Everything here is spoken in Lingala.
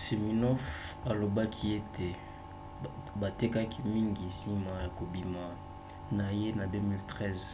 siminoff alobaki ete batekaki mingi nsima ya kobima na ye na 2013